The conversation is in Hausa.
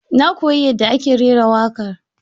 Na koyi yadda ake rera waƙar.